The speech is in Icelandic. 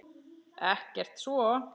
Ekkert svo.